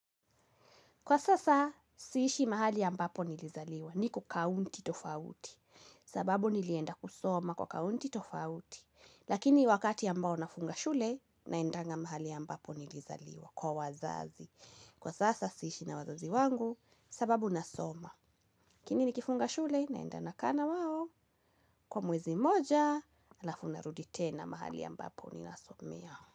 Kwa sasa, siishi mahali ambapo nilizaliwa niko kaunti tofauti. Sababu nilienda kusoma kwa kaunti tofauti. Lakini wakati ambao nafunga shule, naendanga mahali ambapo nilizaliwa kwa wazazi. Kwa sasa, siishi na wazazi wangu sababu nasoma. Lakini nikifunga shule naenda nakaa na wao. Kwa mwezi mmoja, halafu narudi tena mahali ambapo ninasomea.